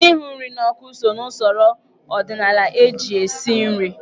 Ịhụ nri n'ọkụ so n'usoro ọdịnaala eji esi nri.